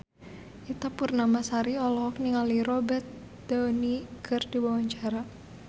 Ita Purnamasari olohok ningali Robert Downey keur diwawancara